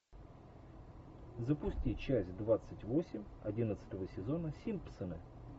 запусти часть двадцать восемь одиннадцатого сезона симпсоны